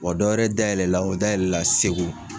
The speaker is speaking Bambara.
Wa dɔwɛrɛ da yɛlɛla o da yɛlɛla segu